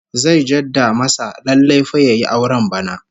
Zai jadda masa lallai fa yayi auren bana